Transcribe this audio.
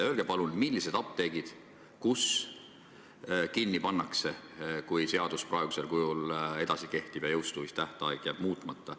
Öelge palun, mis apteegid kinni pannakse, kui seadus jääb praegusel kujul kehtima ja jõustumistähtaeg jääb muutmata.